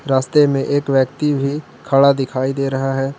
रास्ते में एक व्यक्ति भी खड़ा दिखाई दे रहा है।